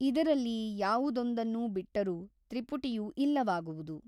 ಇದರಲ್ಲಿ ಯಾವುದೊಂದನ್ನು ಬಿಟ್ಟರೂ ತ್ರಿಪುಟಿಯು ಇಲ್ಲವಾಗುವುದು.